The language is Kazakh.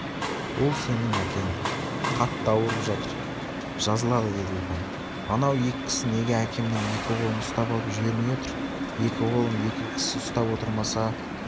ол сенің әкең қатты ауырып жатыр жазылады деді ұлпан анау екі кісі неге әкемнің екі қолын ұстап алып жібермей отыр екі қолын екі кісі ұстап отырмаса